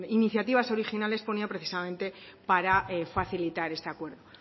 iniciativas originales ponía precisamente para facilitar este acuerdo